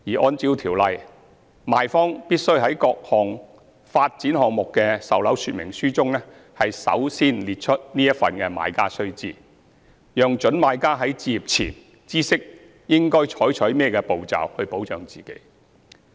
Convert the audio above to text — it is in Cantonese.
按照《條例》，賣方必須在各發展項目的售樓說明書中首先列出此份"買家須知"，讓各準買家在置業前知悉應該採取甚麼步驟保障自己。